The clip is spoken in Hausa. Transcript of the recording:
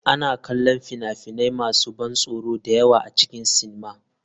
Ana kallon fina-finai masu ban tsoro da yawa a cikin sinima.